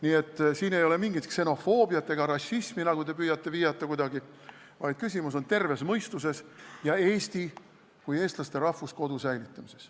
Nii et siin ei ole mingit ksenofoobiat ega rassismi, nagu te püüate kuidagi viidata, vaid küsimus on terves mõistuses ja Eesti kui eestlaste rahvuskodu säilitamises.